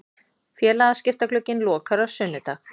Félagaskiptaglugginn lokar á sunnudag.